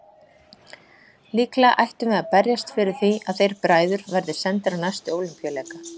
Líklega ættum við að berjast fyrir því að þeir bræður verði sendir á næstu Ólympíuleika!